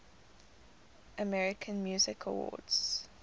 american music awards